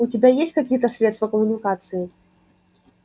у тебя есть какие-то средства коммуникации